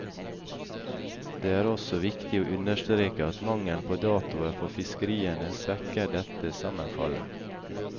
Det er også viktig å understreke at mangelen på datoer for fiskeriene svekker dette sammenfallet.